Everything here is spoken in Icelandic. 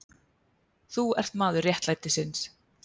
Þú ert maður réttlætisins.